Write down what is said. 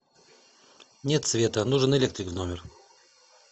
нет света нужен электрик в номер